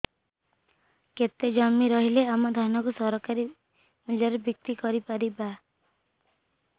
କେତେ ଜମି ରହିଲେ ଆମେ ଧାନ କୁ ସରକାରୀ ମୂଲ୍ଯରେ ବିକ୍ରି କରିପାରିବା